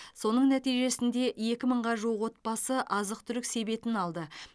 соның нәтижесінде екі мыңға жуық отбасы азық түлік себетін алды